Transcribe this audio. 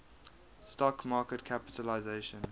stock market capitalisation